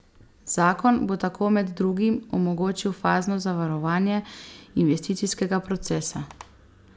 Zakon bo tako med drugim omogočil fazno zavarovanje investicijskega procesa.